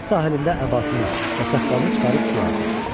Dəniz sahilində əbasını və saqqalını çıxarıb suya atır.